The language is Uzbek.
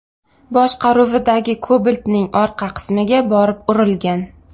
boshqaruvidagi Cobalt’ning orqa qismiga borib urilgan.